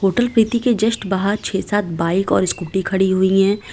Hotel Preeti के just बाहर छे सात बाइक और स्कूटी खड़ी हुई हैं।